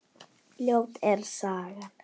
Ljót er sagan.